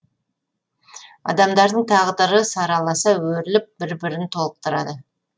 адамдардың тағдыры сараласа өріліп бір бірін толықтырады